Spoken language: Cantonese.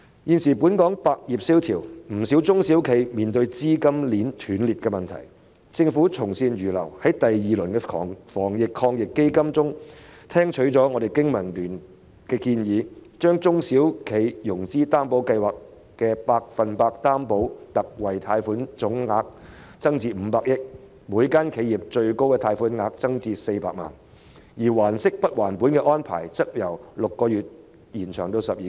"現時本港百業蕭條，不少中小型企業正面對資金鏈斷裂的問題，但政府從善如流，在防疫抗疫基金的第二輪措施中聽取了我們香港經濟民生聯盟的建議，把中小企融資擔保計劃下百分百擔保特惠貸款的總信貸保證承擔額增至500億元，每家企業的最高貸款額亦增至400萬元，而還息不還本安排的實施期則由6個月延長至12個月。